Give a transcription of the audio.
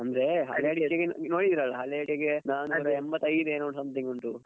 ಅಂದ್ರೆ ಹಳೆ ಅಡಿಕೆಗೆಲ್ಲಾ ನೋಡಿದ್ರಲ್ಲಾ ಹಳೆ ಅಡಿಕೆಗೆಲ್ಲಾ ನಾನೂರ ಎಂಬತ್ತೈದೇನೋ something ಉಂಟು.